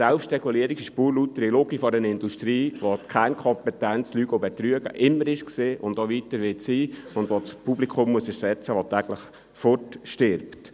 – Selbstregulierung ist eine pure Lüge einer Industrie, die schon immer die Kernkompetenz Lügen und Betrügen hatte und das Publikum ersetzen muss, das täglich stirbt.